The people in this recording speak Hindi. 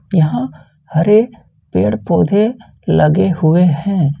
यहां हरे पेड़ पौधे लगे हुए हैं।